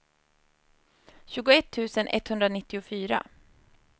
tjugoett tusen etthundranittiofyra